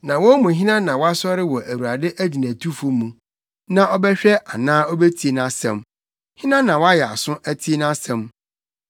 Na wɔn mu hena na wasɔre wɔ Awurade agyinatufo mu sɛ ɔbɛhwɛ anaa obetie nʼasɛm? Hena na wayɛ aso ate nʼasɛm?